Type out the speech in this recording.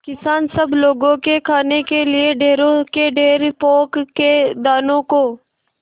किसान सब लोगों के खाने के लिए ढेरों के ढेर पोंख के दानों को